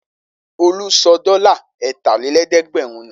Olú sọ dọ́là ẹ̀tàlélẹ́ẹ̀dẹ́gbẹ̀rún nù?